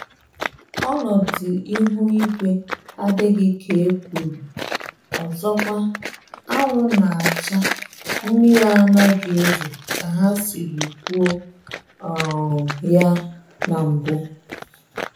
Ọnọdụ ihu igwe adịghị ka ekwuru ọzọkwa; anwụ na-acha, mmiri anaghị ezo ka ha sịrị kwuo um ya na mbụ